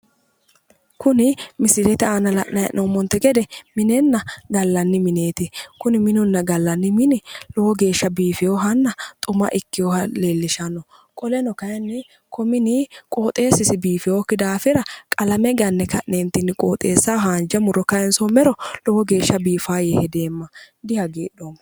Kuni misilete aana la'nayi hee'noommonte gede minenna gallanni mineeti. Kuni minunna gallanni mini lowo geeshsha biifiwohanna xuma ikkiwoha leellishanno. Qoleno kayinni ko mini qooxeessasi biifiwokki daafira qalame ganne ka'neentinni qooxeessaho haanja muro kayinsoommero lowo geeshsha biifawo yee hedeemma. Dihagiidhoomma.